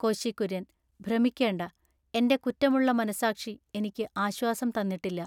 കോശികുര്യന്‍-ഭ്രമിക്കേണ്ട, എന്റെ കുറ്റമുള്ള മനസ്സാക്ഷി ഇനിക്കു ആശ്വാസം തന്നിട്ടില്ല.